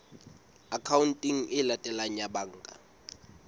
akhaonteng e latelang ya banka